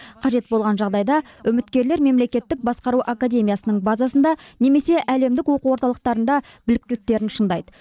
қажет болған жағдайда үміткерлер мемлекеттік басқару академиясының базасында немесе әлемдік оқу орталықтарында біліктіліктерін шыңдайды